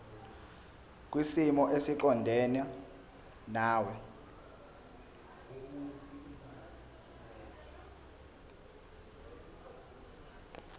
kwisimo esiqondena nawe